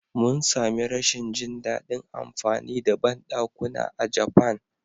Mun sami rashin jin daɗin amfani da bandakuna a Japan.